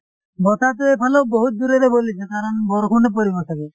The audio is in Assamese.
বতাহ টো এইফলেও বহুত যোৰেৰে বলিছে কাৰণ বৰষুনো পৰিব চাগে